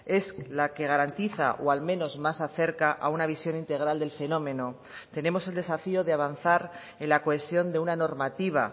es la que garantiza o al menos más acerca a una visión integral del fenómeno tenemos el desafío de avanzar en la cohesión de una normativa